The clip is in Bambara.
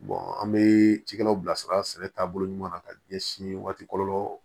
an bɛ cikɛlaw bilasira sɛnɛ taabolo ɲuman ka ɲɛsin waatilɔ